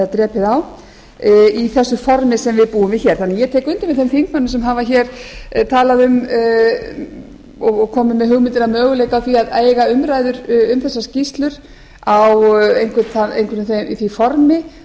drepið á í þessu formi sem við búum við hér ég tek undir með þeim þingmönnum sem hafa hér talað um og komið með hugmyndir um möguleika á því að eiga umræður um þessar skýrslur á einhverju því formi